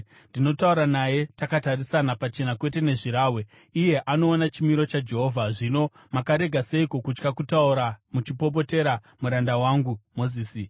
Ndinotaura naye takatarisana, pachena kwete nezvirahwe; iye anoona chimiro chaJehovha. Zvino makarega seiko kutya kutaura muchipopotera muranda wangu Mozisi?”